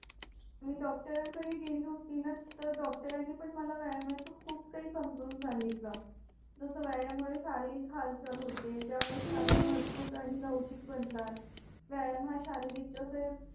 मियॉ डॉक्टरांकडे गेली होती ना तर डॉक्टरांनी पण व्यायामाचा खूप काही समजवून सांगितलं जस व्यायाम मुळे शारीरिक हालचाल होते त्यामुळे मजबूत आणि लवचिक बनतात व्यायाम हा शारिक तसेच